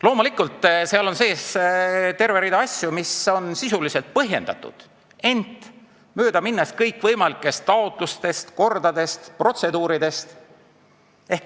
Loomulikult, seal on sees terve rida asju, mis on sisuliselt põhjendatud, ent mööda on mindud kõikvõimalikest taotlustest, kordadest, protseduuridest.